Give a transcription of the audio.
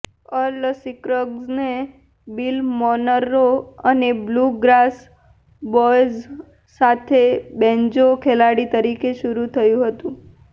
earl સિક્રગ્સને Bill Monroe અને Blue Grass Boys સાથેના બેન્જો ખેલાડી તરીકે શરૂ થયું હતું